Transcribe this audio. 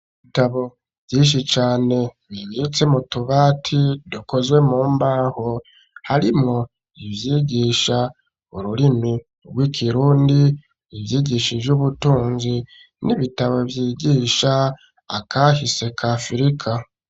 Ibitabo vyinshi cane bibitse mu tubati dukozwe mu mbaho harimo ivyigisha ururimi rw'ikirundi ivyigishi ivy'ubutunzi n'ibitabo ryigisha akahise kafirika.